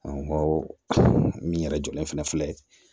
An ko awɔ min yɛrɛ jɔlen fana filɛ